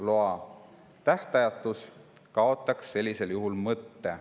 Loa tähtajatus kaotaks sellisel juhul mõtte.